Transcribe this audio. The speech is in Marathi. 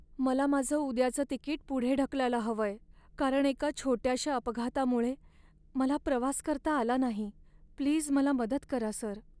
मला माझं उद्याचं तिकीट पुढे ढकलायला हवंय, कारण एका छोट्याशा अपघातामुळे मला प्रवास करता आला नाही. प्लीज, मला मदत करा सर.